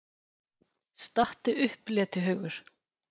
STATTU UPP, LETIHAUGUR!